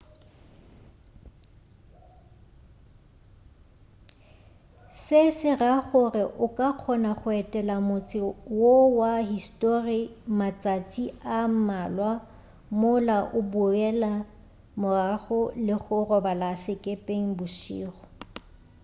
se se ra gore o ka kgona go etela motse wo wa histori matšatši a mmalwa mola o boela morago le go robala sekepeng bošego